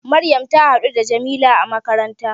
Maryam ta haɗu da Jamila a makaranta